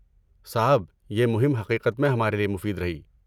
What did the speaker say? صاحب، یہ مہم حقیقت میں ہمارے لیے مفید رہی۔